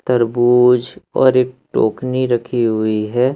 तरबूज और एक टोकनी रखी हुई है।